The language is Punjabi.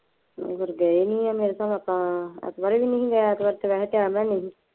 ਫਿਰ ਗਏ ਨਹੀਂ ਮੇਰੇ ਸਾਬ ਤਾਂ। ਇੱਕ ਵਾਰੀ ਵੀ ਨਹੀਂ